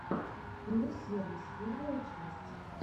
про сервис первая часть